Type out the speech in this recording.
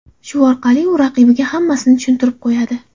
Shu orqali u raqibiga hammasini tushuntirib qo‘yadi.